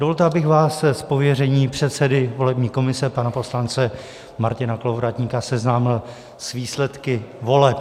Dovolte, abych vás z pověření předsedy volební komise pana poslance Martina Kolovratníka seznámil s výsledky voleb.